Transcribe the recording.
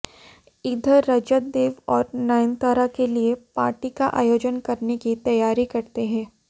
इधर रजत देव और नयनतारा के लिए पार्टी का आयोजन करने की तैयारी करते हैं